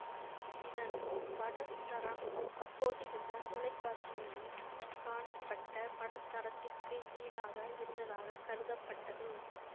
இதன் படத்தரம் அப்போதிருந்த தொலைக்காட்சிகளில் காணப்பட்ட படத்தரத்திற்கு ஈடாக இருந்ததாக கருதப்பட்டது